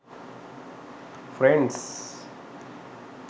friends